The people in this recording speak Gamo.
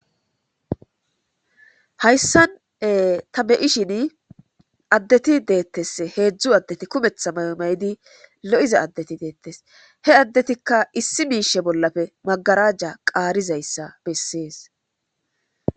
Hayssan ta be7ishin addeti deettes. heedzdzu addeti kumetha maymaydi lo7iza addeti deettes.he addetikka issi miishe bollafe magarajja qaarizayssa bessees.